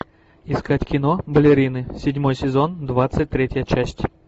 искать кино балерины седьмой сезон двадцать третья часть